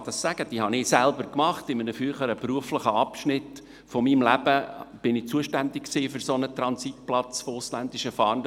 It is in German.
Ich kann das sagen, denn ich habe diese Erfahrungen in einem früheren Abschnitt meines beruflichen Lebens gemacht, als ich für einen solchen Transitplatz für ausländische Fahrende zuständig war.